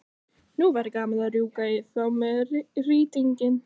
Nú væri gaman að rjúka í þá með rýtinginn.